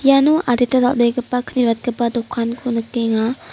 iano adita dal·begipa kni ratgipa dokanko nikenga.